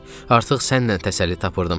Artıq səninlə təsəlli tapırdım.